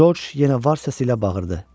Corc yenə var səsi ilə bağırırdı.